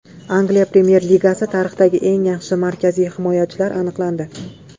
Angliya Premyer Ligasi tarixidagi eng yaxshi markaziy himoyachilar aniqlandi.